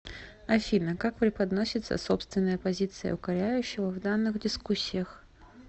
афина как преподносится собственная позиция укоряющего в данных дискуссиях